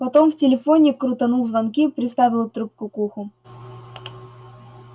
потом в телефоне крутанул звонки приставил трубку к уху